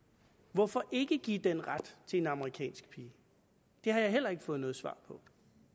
hvorfor ikke give den ret til en amerikansk pige der har jeg heller ikke fået noget svar på